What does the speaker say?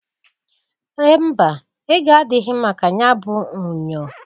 Mba! Ego adịghị maka nyabụ unyo.